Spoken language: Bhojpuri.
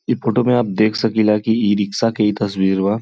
ई फोटो में आप देख सखिला कि ई-रिक्शा के ई तस्वीर बा।